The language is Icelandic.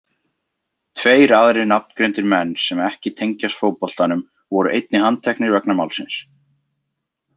Tveir aðrir nafngreindir menn sem ekki tengjast fótboltanum voru einnig handteknir vegna málsins.